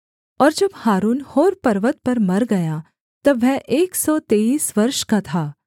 और जब हारून होर पर्वत पर मर गया तब वह एक सौ तेईस वर्ष का था